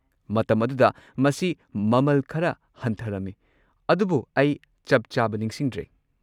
ꯃꯇꯝ ꯑꯗꯨꯗ ꯃꯁꯤ ꯃꯃꯜ ꯈꯔ ꯍꯟꯊꯔꯝꯃꯤ, ꯑꯗꯨꯕꯨ ꯑꯩ ꯆꯞ-ꯆꯥꯕ ꯅꯤꯡꯁꯤꯡꯗ꯭ꯔꯦ꯫